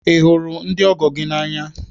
Ị hụrụ ndị ọgọ gị n'anya?